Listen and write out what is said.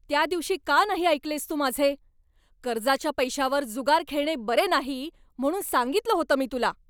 त्या दिवशी का नाही ऐकलेस तू माझे? कर्जाच्या पैशावर जुगार खेळणे बरे नाही म्हणून सांगितलं होतं मी तुला.